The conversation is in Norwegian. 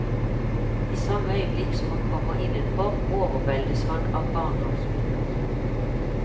I samme øyeblikk som han kommer innenfor, overveldes han av barndomsminner.